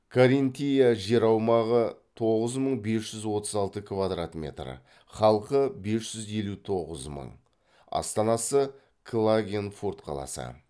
каринтия жер аумағы тоғыз мың бес жүз отыз алты квадрат метр халқы бес жүз елу тоғыз мың астанасы клагенфурт қаласы